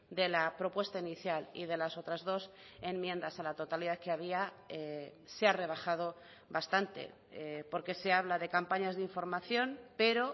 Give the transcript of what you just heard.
de la propuesta inicial y de las otras dos enmiendas a la totalidad que había se ha rebajado bastante porque se habla de campañas de información pero